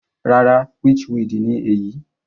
Rárá, witchweed ni èyí.